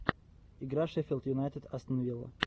игра шеффилд юнайтед астон вилла